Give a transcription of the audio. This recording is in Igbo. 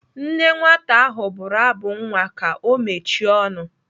Nne nwata ahụ bụrụ abụ nwa ka ọ mechie ọnụ.